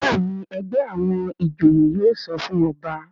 Béèni ègbé àwọn ìjòyè yóò sọfún ọba.